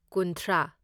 ꯀꯨꯨꯟꯊ꯭ꯔꯥ